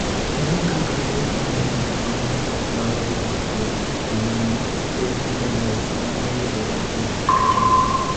Ere kaka tuwo mar ng’ut ma ng’ato nyalo yudo kuom jonyuolne (HDLS) nyalo yudore kuom jonyuolne?